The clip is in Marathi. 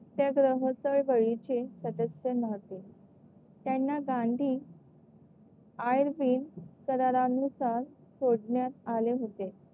त्याग्रह चळवळीचे सदस्य नव्हते त्यांना गांधी करारा नुसार सोडण्यात आले होते.